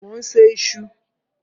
Mò ń se iṣu.